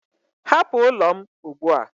Hapụ ụlọ m ugbu a!